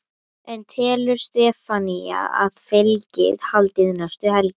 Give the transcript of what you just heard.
En telur Stefanía að fylgið haldi næstu helgi?